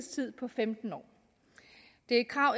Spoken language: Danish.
på femten år det er et krav